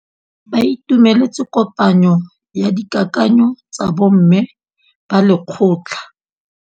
Ba itumeletse kôpanyo ya dikakanyô tsa bo mme ba lekgotla.